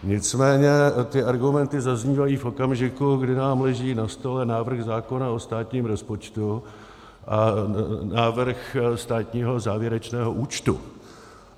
Nicméně ty argumenty zaznívají v okamžiku, kdy nám leží na stole návrh zákona o státním rozpočtu a návrh státního závěrečného účtu.